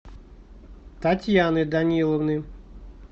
татьяны даниловны